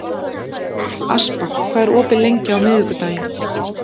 Aspar, hvað er opið lengi á miðvikudaginn?